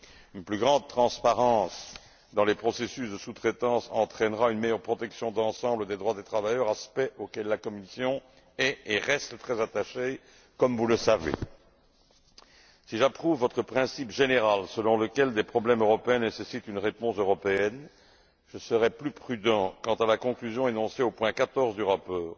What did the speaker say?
Une plus grande transparence dans les processus de sous traitance entraînera une meilleure protection d'ensemble des droits des travailleurs, aspect auquel la Commission est et reste très attachée, comme vous le savez. Si j'approuve votre principe général, selon lequel des problèmes européens nécessitent une réponse européenne, je serai plus prudent quant à la conclusion énoncée au point 14 du rapport,